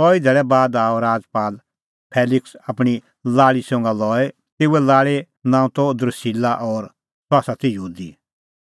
कई धैल़ै बाद आअ राजपाल फेलिक्स आपणीं लाल़ी संघा लई तेऊए लाल़ी नांअ त द्रुसिल्ला और सह ती यहूदी